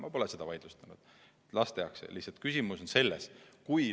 Ma pole seda vaidlustanud, las ta jääb.